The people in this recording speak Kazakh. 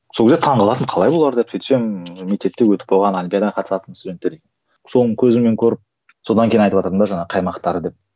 сол кезде таңғалатынмын қалай олар деп сөйтсем мектепте өтіп қойған олимпиада қатысатын студенттер екен соны көзіммен көріп содан кейін айтыватырмын да жаңағы қаймақтары деп